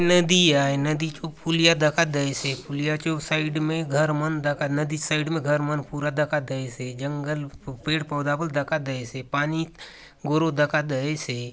नदी आय नदी चो पुलिया दखा देयसे पुलिया चो साइड में घर मन दखा नदी चो साइड में घर मन पूरा दखा देयसे जंगल पेड़-पौधा बले दखा देयसे पानी गोरो दखा देयसे।